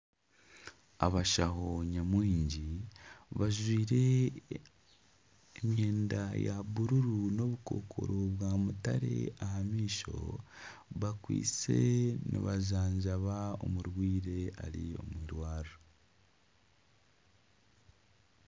Abashaho nyamwingi bajwaire emyenda ya bururu n'obukokoro bwa mutare aha maisho bakwaitse nibajanjaba omurwaire ari omu irwariro